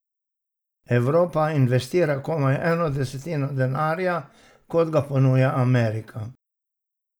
Evropa investira komaj eno desetino denarja, kot ga ponuja Amerika.